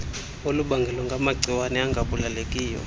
olubangelwa ngamagciwane angabulalekileyo